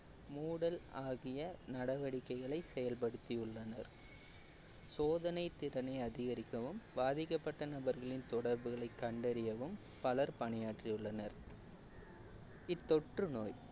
மூடல் ஆகிய நடவடிக்கைகளை செயல்படுத்தியுள்ளனர் சோதனை திறனை அதிகரிக்கவும் பாதிக்கப்பட்ட நபர்களின் தொடர்புகளை கண்டறியவும் பலர் பணியாற்றியுள்ளனர் இத்தொற்று நோய்